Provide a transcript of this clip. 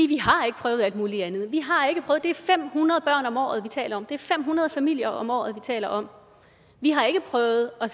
vi har ikke prøvet alt muligt andet det er fem hundrede børn om året vi taler om det er fem hundrede familier om året vi taler om vi har ikke prøvet at